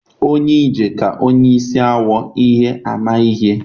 Onye ije ka onye isi awọ ihe ama ihe